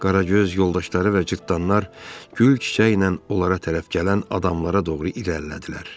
Qaragöz, yoldaşları və cırtdanlar gül çiçəklə onlara tərəf gələn adamlara doğru irəlilədilər.